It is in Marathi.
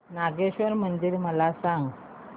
नागेश्वर मंदिर मला सांग